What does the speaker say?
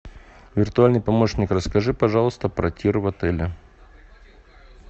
виртуальный помощник расскажи пожалуйста про тир в отеле